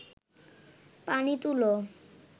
পানি তুলো